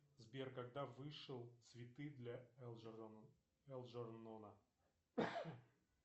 сбер когда вышел цветы для элджернона